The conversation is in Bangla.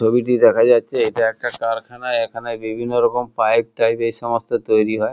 ছবিটি দেখা যাচ্ছে এটা একটা কারখানা এখানে বিভিন্ন রকম পাইপ টাইপ এই সমস্ত তৈরী হয়।